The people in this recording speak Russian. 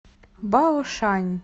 баошань